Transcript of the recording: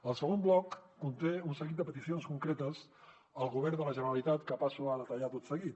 el segon bloc conté un seguit de peticions concretes al govern de la generalitat que passo a detallar tot seguit